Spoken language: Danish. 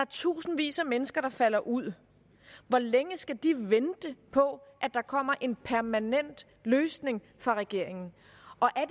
tusindvis af mennesker der falder ud hvor længe skal de vente på at der kommer en permanent løsning fra regeringen